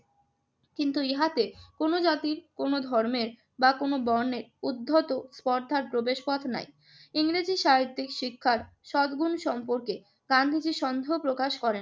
কিন্তু ইহাতে কোন জাতির, কোন ধর্মের বা কোন বর্ণের উদ্ভূত স্পর্ধার প্রবেশপথ নাই। ইংরেজি সাহিত্য শিক্ষার সদগুণ সম্পর্কে গান্ধীজি সন্দেহ প্রকাশ করেন।